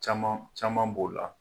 Caman caman b'o la.